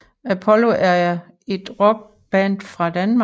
Apollo er et rockband fra Danmark